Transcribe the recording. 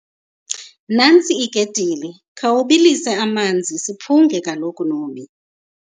Nantsi iketile, khawubilise amanzi siphunge kaloku, Nomhi.